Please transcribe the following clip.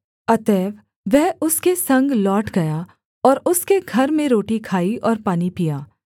अतएव वह उसके संग लौट गया और उसके घर में रोटी खाई और पानी पीया